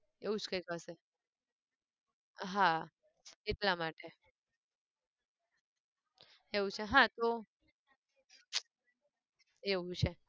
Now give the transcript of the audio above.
એવું જ કંઈક હશે, હા એટલા માટે, એવું છે હા તો, એવું છે.